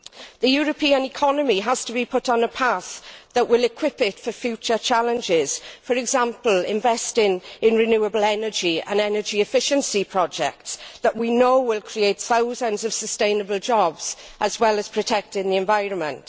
The European economy has to be put on a path that will equip it for future challenges, for example investing in renewable energy and energy efficiency projects that we know will create thousands of sustainable jobs as well as protecting the environment.